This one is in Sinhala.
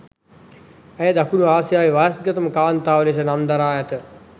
ඇය දකුණු ආසියාවේ වයස්ගතම කාන්තාව ලෙස නම් දරා ඇත